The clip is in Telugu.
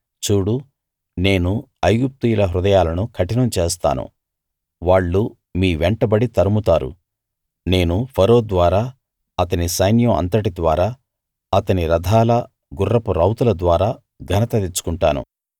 చూడు నేను ఐగుప్తీయుల హృదయాలను కఠినం చేస్తాను వాళ్ళు మీ వెంటబడి తరుముతారు నేను ఫరో ద్వారా అతని సైన్యం అంతటి ద్వారా అతని రథాల గుర్రపు రౌతుల ద్వారా ఘనత తెచ్చుకొంటాను